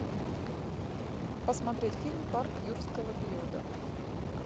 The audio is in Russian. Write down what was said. посмотреть фильм парк юрского периода